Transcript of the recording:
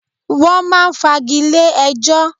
Wọ́n máa ń fagilé ẹjọ́.